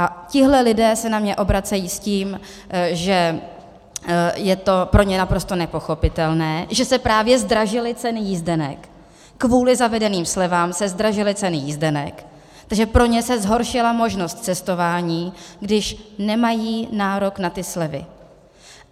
A tihle lidé se na mě obracejí s tím, že je to pro ně naprosto nepochopitelné, že se právě zdražily ceny jízdenek, kvůli zavedeným slevám se zdražily ceny jízdenek, takže pro ně se zhoršila možnost cestování, když nemají nárok na ty slevy.